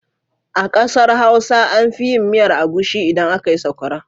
A ƙasar Hausa an fi yin miyar agushi idan aka yi sakwara.